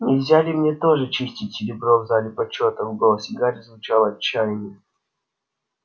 нельзя ли мне тоже чистить серебро в зале почёта в голосе гарри звучало отчаяние